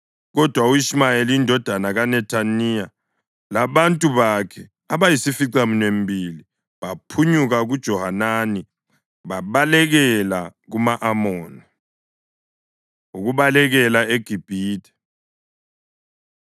Kodwa u-Ishumayeli indodana kaNethaniya labantu bakhe abayisificaminwembili baphunyuka kuJohanani babalekela kuma-Amoni. Ukubalekela EGibhithe